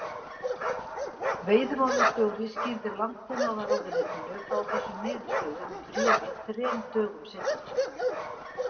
Veiðimálastjóri skýrði Landbúnaðarráðuneytinu frá þessum niðurstöðum í bréfi þrem dögum seinna.